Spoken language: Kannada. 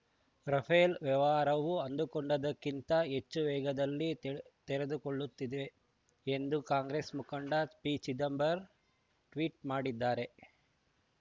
ರಫೇಲ್‌ ವ್ಯವಹಾರವು ಅಂದುಕೊಂಡಿದ್ದಕ್ಕಿಂತ ಹೆಚ್ಚು ವೇಗದಲ್ಲಿ ತೆ ತೆರೆದುಕೊಳ್ಳುತ್ತಿದೆ ಎಂದು ಕಾಂಗ್ರೆಸ್‌ ಮುಖಂಡ ಪಿಚಿದಂಬರ್ ಟ್ವೀಟ್‌ ಮಾಡಿದ್ದಾರೆ